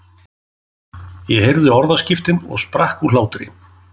Ég heyrði orðaskiptin og sprakk úr hlátri.